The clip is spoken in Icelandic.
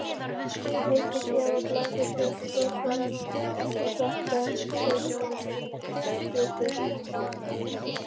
Litlu síðar var blásið til brottfarar og svarta seglskipið